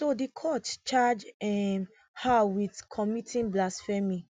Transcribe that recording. so di court charge um her wit committing blasphemy